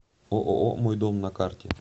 ооо мой дом на карте